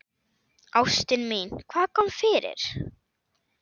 Ástin mín, hvað kom fyrir?